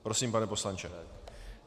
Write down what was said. Prosím, pane poslanče.